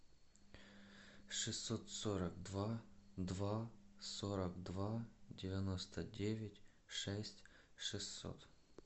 шестьсот сорок два два сорок два девяносто девять шесть шестьсот